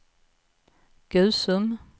Gusum